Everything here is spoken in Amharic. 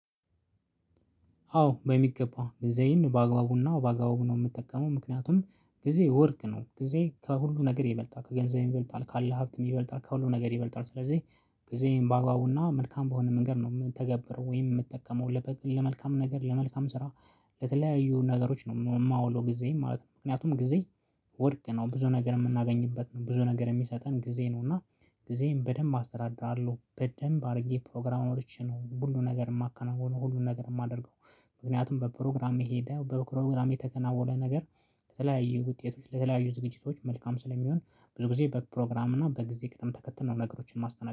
አዎ በሚገባ ጊዜዬን በአግባቡና በአግባቡ ነው የምጠቀመው ምክንያቱም ጊዜ ወርቅ ነው ጊዜ ከሁሉ ነገር ይበልጣል ከገንዘብ ይበልጣል ካለ ሀብትም ይበልጣል ከሁሉ ነገር ይበልጣል ስለዚህ ጊዜም ባግባቡና መልካም በሆነ መንገድ ነው የምትተገብረው ወይም የምትጠቀመው ለመልካም ነገር ለመልካም ስራ ለተለያዩ ነገሮች ነው የማውለው። ጊዜ ማለት ነው። ምክንያቱም ጊዜ ወርቅ ነው ብዙ ነገር የምናገኝበት ነው ብዙ ነገር የሚሰጠን ጊዜ ነው። እና ጊዜም በደንብ አስተዳድራለሁ በደንብ አድርጌ ፕሮግራመሮችን ሁሉን ነገር የማከናውነው ሁሉን ነገር የማደርገው። ምክንያቱም በፕሮግራም የሄደው በፕሮግራም የተከናወነ ነገር ለተለያዩ ውጤቶች ለተለያዩ ዝግጅቶች መልካም ስለሚሆን ብዙ ጊዜ በፕሮግራም እና በጊዜ ቅጥም ተከትለን ነገሮችን ማስተናገድ